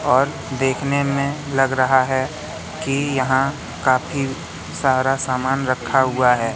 और देखने में लग रहा है कि यहां काफी सारा सामान रखा हुआ है।